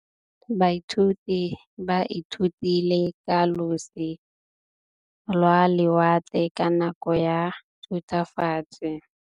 Baithuti ba ithutile ka losi lwa lewatle ka nako ya Thutafatshe.